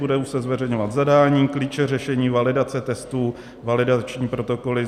Budou se zveřejňovat zadání, klíče řešení, validace testů, validační protokoly.